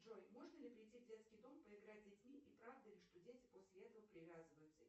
джой можно ли прийти в детский дом поиграть с детьми и правда ли что дети после этого привязываются